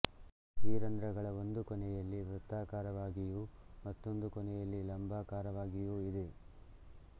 ಈ ರಂಧ್ರಗಳ ಒಂದು ಕೊನೆಯಲ್ಲಿ ವೃತ್ತಾಕಾರವಾಗಿಯೂ ಮತ್ತೊಂದು ಕೊನೆಯಲ್ಲಿ ಲಂಬಾಕಾರವಾಗಿಯೂ ಇದೆ